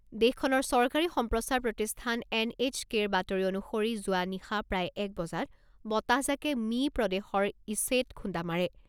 দেশখনৰ চৰকাৰী সম্প্ৰচাৰ প্ৰতিষ্ঠান এন এইছ কেৰ বাতৰি অনুসৰি যোৱা নিশা প্ৰায় এক বজাত বতাহজাকে মিই প্ৰদেশৰ ইছেত খুন্দা মাৰে।